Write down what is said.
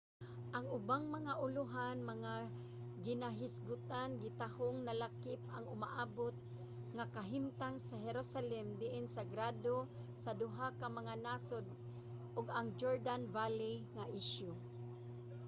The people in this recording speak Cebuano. ang ubang mga ulohan nga ginahisgotan gitahong nalakip ang umaabot nga kahimtang sa jerusalem diin sagrado sa duha ka mga nasod ug ang jordan valley nga isyu